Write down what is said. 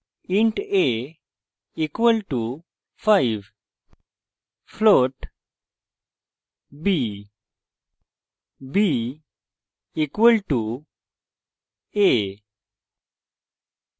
int a equal to 5